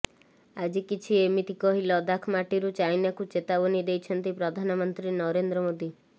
ଆଜି କିଛି ଏମିତି କହି ଲଦାଖ ମାଟିରୁ ଚାଇନାକୁ ଚେତାବନୀ ଦେଇଛନ୍ତି ପ୍ରଧାମନ୍ତ୍ରୀ ନରେନ୍ଦ୍ର ମୋଦି